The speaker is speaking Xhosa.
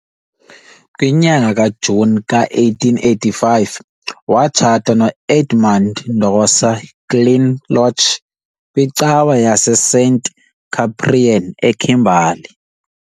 Ngenyanga kaJuni ka-1885, watshata no-Edmund Ndosa Kinloch kwicawa yaseSt Cyprian eKimberley.